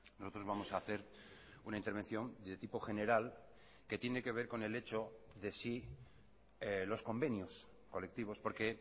nosotros vamos a hacer una intervención de tipo general que tiene que ver con el hecho de si los convenios colectivos porque